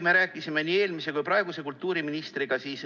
Me rääkisime sellest nii eelmise kui ka praeguse kultuuriministriga.